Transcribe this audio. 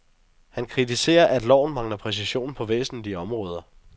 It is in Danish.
Han kritiserer, at loven mangler præcision på væsentlige områder.